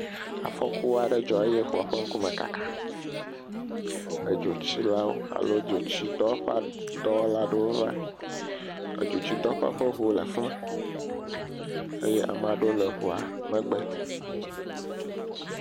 Afɔku aɖe dzɔ eye ŋua ƒe ŋkume kaka. Dzotsilawo alo dzotsitɔ dɔwɔla aɖewo va. Edzotsitɔwo ƒe ŋu le afi ma eye amaa ɖewo le ŋua megbe.